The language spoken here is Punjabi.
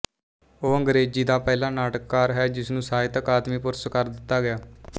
ਉਹ ਅੰਗਰੇਜ਼ੀ ਦਾ ਪਹਿਲਾ ਨਾਟਕਕਾਰ ਹੈ ਜਿਸ ਨੂੰ ਸਾਹਿਤ ਅਕਾਦਮੀ ਪੁਰਸਕਾਰ ਦਿੱਤਾ ਗਿਆ